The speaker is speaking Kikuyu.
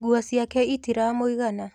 Nguo ciake itiramũigana